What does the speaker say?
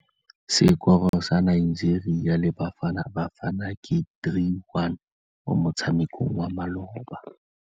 Sekôrô sa Nigeria le Bafanabafana ke 3-1 mo motshamekong wa malôba.